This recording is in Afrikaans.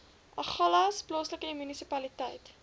agulhas plaaslike munisipaliteit